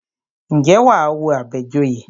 Ǹjẹ́ wà á wo Àbẹ̀joyè?